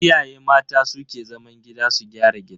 Iyaye mata su ke zaman gida su gyara gida.